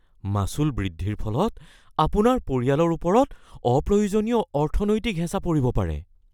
মাচুল বৃদ্ধিৰ ফলত আপোনাৰ পৰিয়ালৰ ওপৰত অপ্ৰয়োজনীয় অৰ্থনৈতিক হেঁচা পৰিব পাৰে।